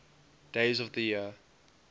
days of the year